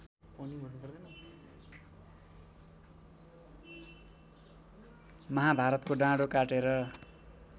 महाभारतको डाँडो काटेर